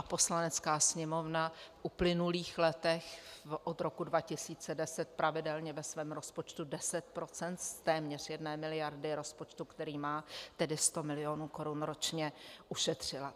A Poslanecká sněmovna v uplynulých letech od roku 2010 pravidelně ve svém rozpočtu 10 % z téměř jedné miliardy rozpočtu, který má, tedy 100 mil. korun ročně, ušetřila.